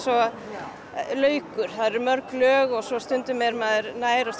og laukur það eru mörg lög og stundum er maður nær og